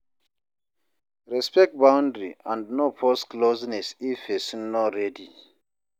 Respect boundary and no force closeness if person no ready